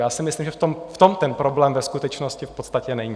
Já si myslím, že v tom ten problém ve skutečnosti v podstatě není.